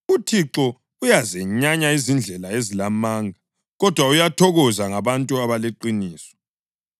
UThixo uyazenyanya izindlela ezilamanga, kodwa uyathokoza ngabantu abaleqiniso.